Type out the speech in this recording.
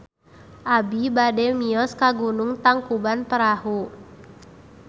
Abi bade mios ka Gunung Tangkuban Perahu